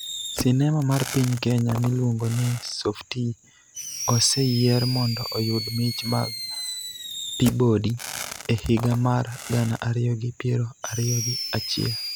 Sinema mar piny Kenya miluongo ni Softie oseyier mondo oyud mich mag Peabody e higa mar gana ariyi gi piero ariyo gi achiel